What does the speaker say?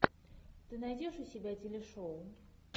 ты найдешь у себя телешоу